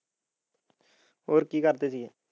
ਹੋਰ ਕਿ ਕਰਦੇ ਸੀ ਗਏ?